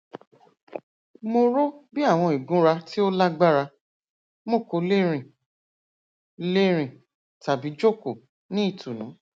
mo ro bi awọn igunra ti o lagbara mo ko le rin le rin tabi joko ni itunu